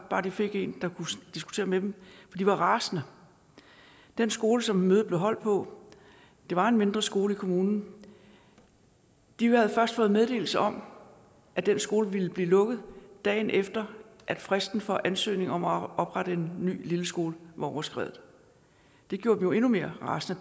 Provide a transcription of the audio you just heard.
bare de fik en der kunne diskutere med dem for de var rasende den skole som mødet blev holdt på var en mindre skole i kommunen og de havde først fået meddelelsen om at den skole ville blive lukket dagen efter at fristen for ansøgning om at oprette en ny lilleskole var overskredet det gjorde dem jo endnu mere rasende